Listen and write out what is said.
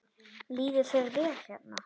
Líður þér vel hérna?